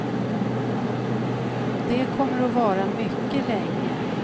Och det kommer att vara mycket länge.